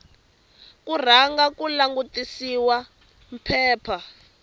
ku rhanga ku langutisiwa phepha